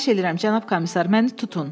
Xahiş edirəm, cənab komissar, məni tutun!